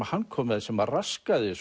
hann kom með sem raskaði